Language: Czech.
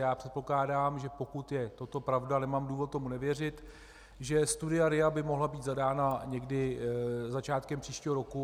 Já předpokládám, že pokud je toto pravda, a nemám důvod tomu nevěřit, že studia RIA by mohla být zadána někdy začátkem příštího roku.